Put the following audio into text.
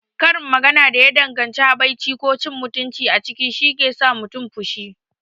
Karin magana da ya danganci habaici ko cin mutunci a ciki shike sa mutum fushi.